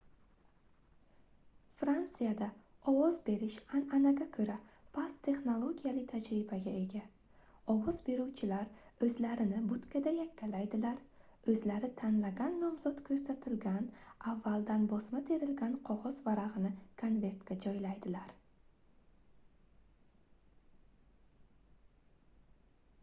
frantsiyada ovoz berish anʼanaga koʻra past texnologiyali tajribaga ega ovoz beruvchilar oʻzlarini butkada yakkalaydilar oʻzlari tanlagan nomzod koʻrsatilgan avvaldan bosma terilgan qogʻoz varagʻini konvertga joylaydilar